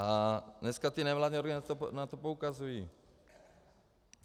A dneska ty nevládní organizace na to poukazují.